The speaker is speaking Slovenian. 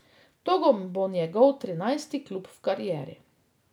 To bo njegov trinajsti klub v karieri.